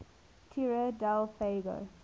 tierra del fuego